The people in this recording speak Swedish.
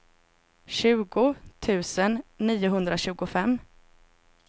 tjugo tusen niohundratjugofem